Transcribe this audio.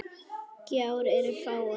Gjár eru fáar.